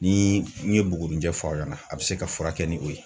Ni n ye buguni jɛ fɔ aw ɲɛna, a be se ka furakɛ ni o ye.